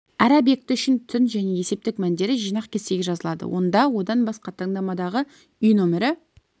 әр объекті үшін түн және есептік мәндері жинақ кестеге жазылады онда одан басқа таңдамадағы үй нөмірі